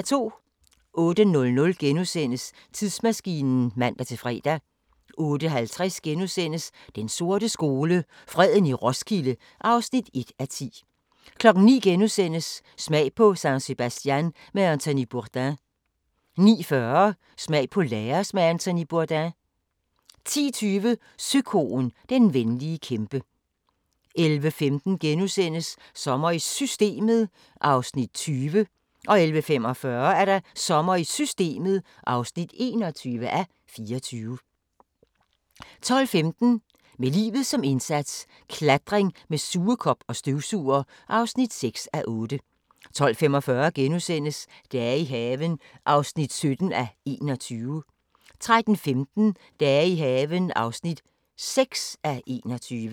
08:00: Tidsmaskinen *(man-fre) 08:50: Den sorte skole: Freden i Roskilde (1:10)* 09:00: Smag på San Sebastian med Anthony Bourdain * 09:40: Smag på Laos med Anthony Bourdain 10:20: Søkoen – den venlige kæmpe 11:15: Sommer i Systemet (20:24)* 11:45: Sommer i Systemet (21:24) 12:15: Med livet som indsats – Klatring med sugekop og støvsuger (6:8) 12:45: Dage i haven (17:21)* 13:15: Dage i haven (6:21)